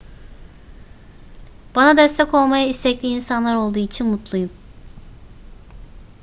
bana destek olmaya istekli insanlar olduğu için mutluyum